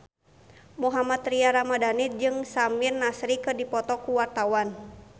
Mohammad Tria Ramadhani jeung Samir Nasri keur dipoto ku wartawan